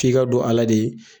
F'i ka don ala de ye